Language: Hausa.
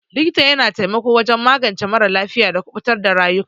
Likita ya na taimako wajen magance mara lafiya da kubutar da rayuka.